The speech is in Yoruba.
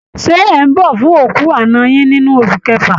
Ṣé ẹ̀ ń bọ̀ fún òkú àná yín nínú oṣù kẹfà?